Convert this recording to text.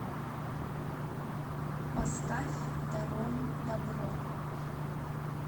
поставь даром дабро